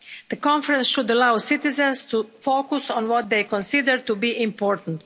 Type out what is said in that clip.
The Conference should allow citizens to focus on what they consider to be important.